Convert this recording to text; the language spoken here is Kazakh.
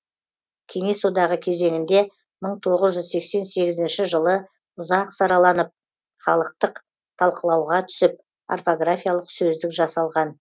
кеңес одағы кезеңінде мың тоғыз жүз сексен сегізінші жылы ұзақ сараланып халықтық талқылауға түсіп орфографиялық сөздік жасалған